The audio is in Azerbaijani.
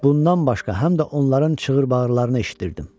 Bundan başqa, həm də onların çığır-bağırlarını eşidirdim.